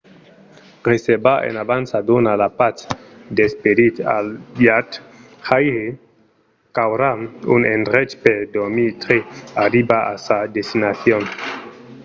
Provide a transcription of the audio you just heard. reservar en avança dona la patz d’esperit al viatjaire qu’aurà un endrech per dormir tre qu’arriba a sa destinacion